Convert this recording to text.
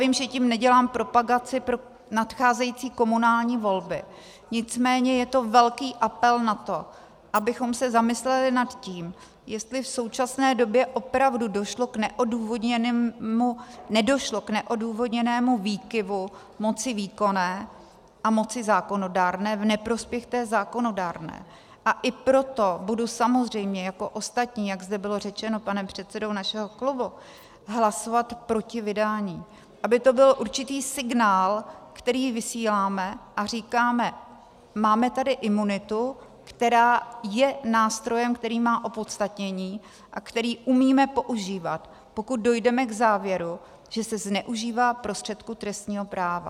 Vím, že tím nedělám propagaci pro nadcházející komunální volby, nicméně je to velký apel na to, abychom se zamysleli nad tím, jestli v současné době opravdu nedošlo k neodůvodněnému výkyvu moci výkonné a moci zákonodárné v neprospěch té zákonodárné, a i proto budu samozřejmě jako ostatní, jak zde bylo řečeno panem předsedou našeho klubu, hlasovat proti vydání, aby to byl určitý signál, který vysíláme, a říkáme: máme tady imunitu, která je nástrojem, který má opodstatnění a který umíme používat, pokud dojdeme k závěru, že se zneužívá prostředků trestního práva.